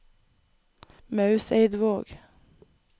Mauseidvåg